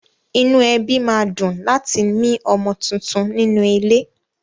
Inú ẹbí ma dùn láti mi ọmọ tuntun nínú ilé.